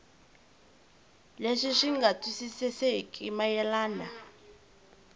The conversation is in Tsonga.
leswi swi nga twisisekeki mayelana